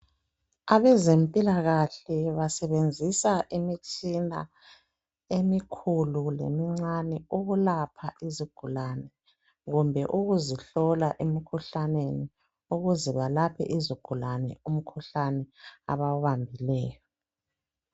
Abezempilakahle basebenzisa imitshina emikhulu lemincane ukulapha izigulani kumbe ukuzihlola emkhuhlaneni ukuze balaphe izigulane umkhuhlane abawubambileyo.